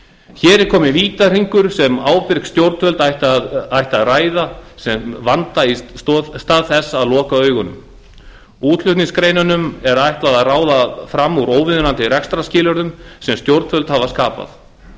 hér er kominn vítahringur sem ábyrg stjórnvöld ættu að ræða sem vanda í stað þess að loka augunum útflutningsgreinunum er ætlað að ráða fram úr óviðunandi rekstrarskilyrðum sem stjórnvöld hafa skapað